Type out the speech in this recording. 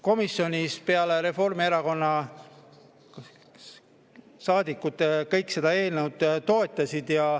Komisjonis kõik peale Reformierakonna saadikute seda eelnõu toetasid.